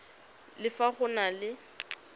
le fa go na le